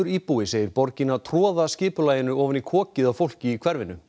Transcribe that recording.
íbúi segir borgina troða skipulaginu ofan í kokið á fólki í hverfinu